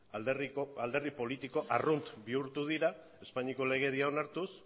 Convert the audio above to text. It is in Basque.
alderdi politiko arrunt bihurtu dira espainiako legedia onartuz